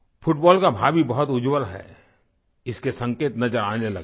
football का भावी बहुत उज्ज्वल है इसके संकेत नजर आने लगे हैं